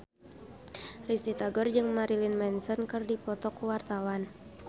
Risty Tagor jeung Marilyn Manson keur dipoto ku wartawan